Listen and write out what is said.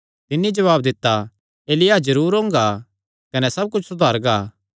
तिन्नी जवाब दित्ता एलिय्याह जरूर ओंगा कने सब कुच्छ सुधारगा